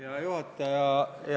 Hea juhataja!